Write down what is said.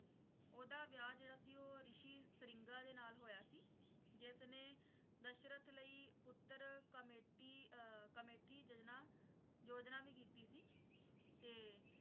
ਓਹਦਾ ਵਿਆਹ ਜਿਹੜਾ ਸੀ ਰਿਸ਼ੀ ਸ੍ਰਿੰਗਾ ਦੇ ਨਾਲ ਹੋਇਆ ਸੀ ਜਿਸਨੇ ਦਸ਼ਰਥ ਲਈ ਪੁੱਤਰ ਕਮੇਟੀ ਕਮੇਠੀ ਯਜ਼ਨਾ ਯੋਜਨਾ ਵੀ ਕੀਤੀ ਸੀ ਤੇ